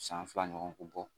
San fila ɲɔgɔn ku bɔ